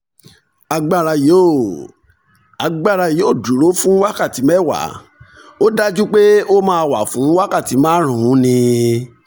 agbára yóò agbára yóò dúró fún wákàtí mẹ́wàá ó dájú pé ó máa wà fún wákàtí márùn-ún ní